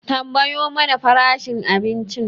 Tambayo mana farashin abincin